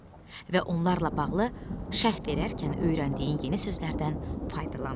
Və onlarla bağlı şərh verərkən öyrəndiyin yeni sözlərdən faydalan.